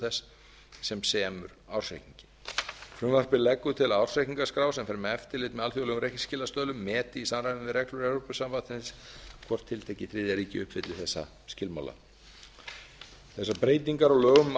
þess sem semur ársreikningurinn frumvarpið leggur til að ársreikningaskrá sem fer með eftirlit með alþjóðlegum reikningsskilastöðlum meti í samræmi við reglur evrópusambandsins hvort tiltekið þriðja ríki uppfylli þessa skilmála þessar breytingar á lögum um